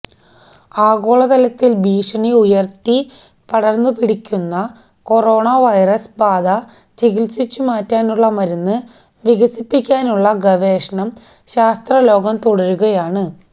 ആഗോള തലത്തിൽ ഭീഷണി ഉയർത്തി പടർന്നുപിടിക്കുന്ന കൊറോണ വൈറസ് ബാധ ചികിത്സിച്ചുമാറ്റാനുള്ള മരുന്ന് വികസിപ്പിക്കാനുള്ള ഗവേഷണം ശാസ്ത്രലോകം തുടരുകയാണ്